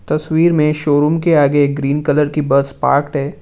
तस्वीर में शोरूम के आगे एक ग्रीन कलर की बस पार्क्ड है।